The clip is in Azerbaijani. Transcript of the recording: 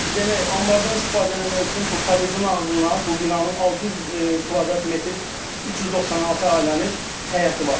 Demək, anbardan istifadə eləmək üçün bu padyezin ağzında, bu binanın 600 kvadrat metr 396 ailənin həyəti var.